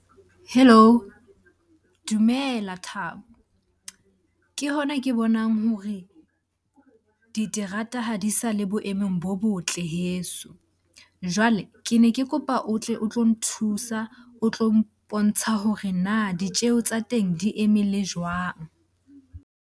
Hello? Dumela Thabo. Ke hona ke bonang hore diterata ha di sa le boemong bo botle heso. Jwale ke ne ke kopa o tle o tlo nthusa, o tlo mpontsha hore na ditjeho tsa teng di eme le jwang?